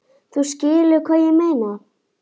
Þú skilur hvað ég meina?